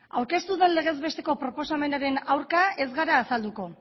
aurkeztu den legez besteko proposamenaren aurka ez gara azalduko